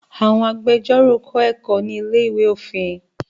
Àwọn agbẹjórò kọ́ ẹ̀kọ́ ní ilé-ìwé òfin